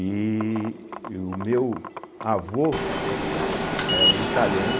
E o meu avô é um italiano